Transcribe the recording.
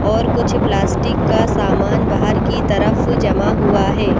और कुछ प्लास्टिक का सामान बाहर की तरफ जमा हुआ है।